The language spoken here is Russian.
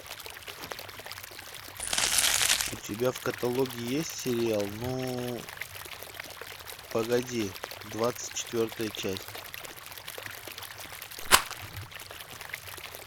у тебя в каталоге есть сериал ну погоди двадцать четвертая часть